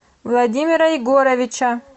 владимира егоровича